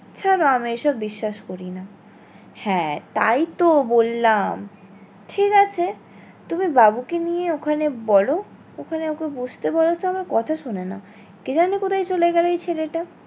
ছাড়ো আমি এই সব বিশ্বাস করি না। হ্যাঁ তাই তো বললাম ঠিক আছে তুমি বাবু কে নিয়ে ওখানে বলো ওখানে ওকে বসতে বোলো তো আমার কথা শোনে না কে জানি কোথায় চলে গেলো এই ছেলে টা?